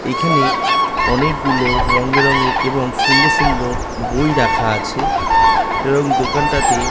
এখানে অনেকগুলো রংবেরঙের এবং সুন্দর সুন্দর বই রাখা আছে এবং দোকানটাতে --